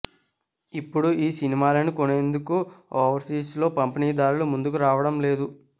ఇప్పుడు ఈ సినిమాలని కొనేందుకు ఓవర్సీస్ లో పంపిణీదారులు ముందుకు రావడం లేదు